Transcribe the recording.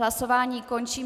Hlasování končím.